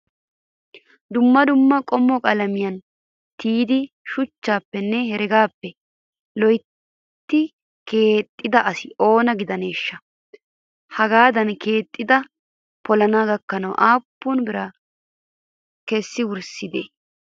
dumma dumma qommo qalamkiyan ti'idi shuchchppenne heregaappe loyitti qeexxida asi oona gidaneeshsha? Hagaadan keexxidi polana gakkana aappun biraa kessidi wurssidee?